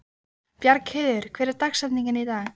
Bjargheiður, hver er dagsetningin í dag?